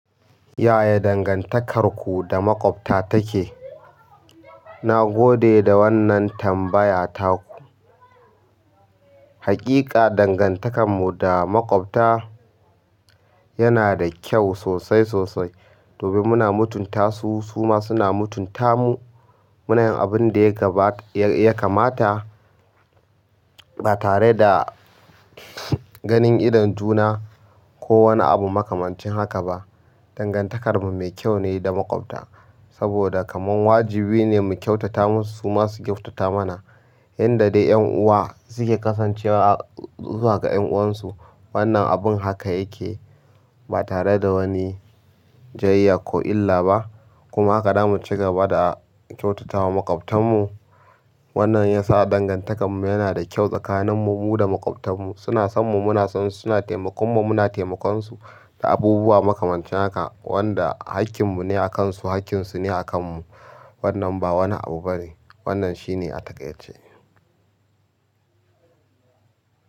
Yaya dangantakarku da maƙwabta take? Na gode da wannan tambaya taku. Haƙiƙa dangantakar mu da maƙwabta yana da kyau sosai sosai. Domin muna mutunta su, su ma suna mutunta mu. Muna yin abin da ya kamata ba tare da ganin idon juna ko wani abu makamancin haka ba. Dangantakarmu mai kyau ne da maƙwabta, saboda kaman wajibi ne mu kyautata musu, su ma su kyautata mana. Yadda dai 'yan uwa suke kasancewa zuwa ga 'yan uwansu, wannan abun haka yake. Ba tare da wani jayayya ko illa ba. Kuma haka zamu ci gaba da kyautata wa maƙwabtan mu. Wannan ya sa dangantakarmu yana da kyau tsakanin mu mu da maƙwabtan mu. Suna son mu muna son su, suna taimakon mu muna taimakon su, da abubuwa makamancin haka. Wanda haƙƙin mu ne a kan su, haƙƙin su ne a kan mu. Wannan ba wani abu bane, wannan shi ne a taƙaice.